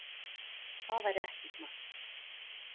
Það væri ekki smart.